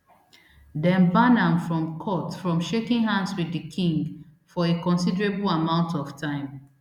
dem ban am from court from shaking hands wit di king for a considerable amount of time